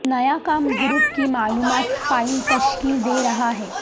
نیا کام گروپ کی معلومات فائل تشکیل دے رہا ہے